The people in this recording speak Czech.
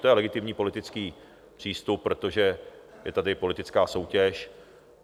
To je legitimní politický přístup, protože je tady politická soutěž.